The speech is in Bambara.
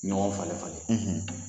Ɲɔgɔn falen-falen,